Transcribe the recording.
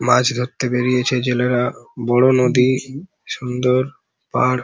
মাছ ধরতে বেড়িয়েছে জেলেরা বড় নদী সুন্দর পার্ক ।